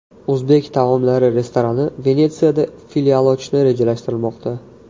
O‘zbek taomlari restorani Venetsiyada filial ochishni rejalashtirmoqda .